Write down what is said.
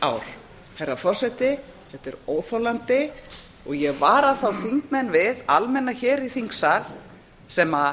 ár herra forseti þetta er óþolandi og ég vara þá þingmenn við almenna hér í þingsal sem